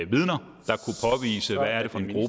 vidner